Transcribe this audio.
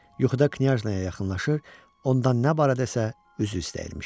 Yuxuda knyajnaya yaxınlaşır, ondan nə barədə isə üzr istəyirmişəm.